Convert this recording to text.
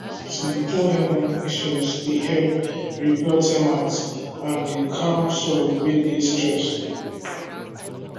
to dey pour herbal mixtures dey help repel termites and dey calm soil wey dey stressed